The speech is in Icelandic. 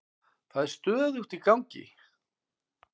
Það er stöðugt í gangi.